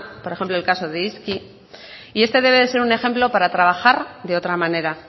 por ejemplo el caso de izki y este debe de ser un ejemplo para trabajar de otra manera